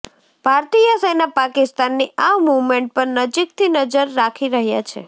ભારતીય સેના પાકિસ્તાનની આ મૂવમેન્ટ પર નજીકથી નજર રાખી રહ્યા છે